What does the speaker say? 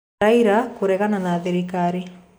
Raila kũregana na thirikari